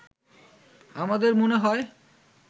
“আমাদের মনে হয়